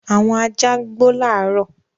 Àwọn ajá gbò laro.